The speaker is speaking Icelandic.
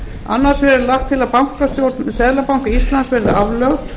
annars vegar er lagt til að bankastjórn seðlabanka íslands verði aflögð